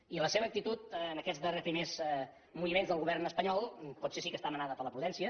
i la seva actitud en aquests primers moviments del govern espanyol potser sí que està manada per la prudència